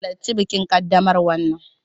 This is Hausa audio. Halarci bikin ƙaddamarwa nan!